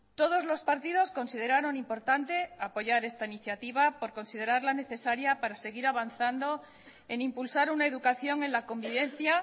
todos los partidos consideraron importante apoyar esta iniciativa por considerarla necesaria para seguir avanzando en impulsar una educación en la convivencia